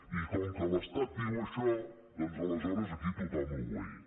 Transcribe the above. i com que l’estat diu això doncs aleshores aquí tothom a obeir